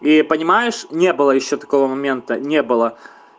и понимаешь не было ещё такого момента не было